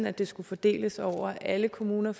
at det skulle fordeles over alle kommuner